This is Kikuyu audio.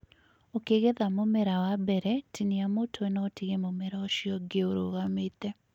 ũkĩgetha mũmera wa mbere, tinia mutwe na ũtige mũmera ũcio ũngĩ ũrugamĩte